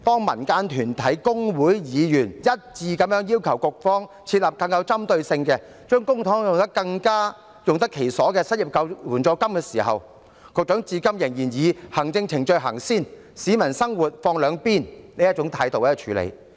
民間團體、工會和議員一致要求局方設立更具針對性、將公帑更用得其所的失業援助金，但局長至今仍然以行政程序先行、市民生活放兩旁的態度來處理。